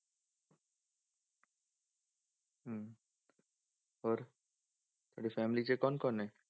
ਹੋਰ, ਤੁਹਾਡੀ family 'ਚ ਕੌਣ ਕੌਣ ਨੇ।